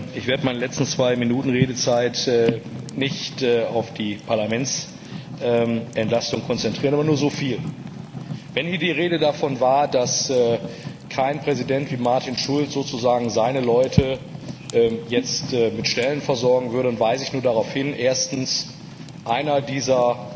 Ich werde meine letzten zwei Minuten Redezeit nicht auf die Parlamentsentlastung konzentrieren aber nur so viel Wenn hier die Rede davon war, dass kein Präsident wie Martin Schulz seine Leute jetzt mit Stellen versorgen würde, dann weise ich nur darauf hin, dass einer dieser